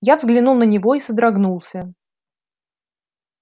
я взглянул на него и содрогнулся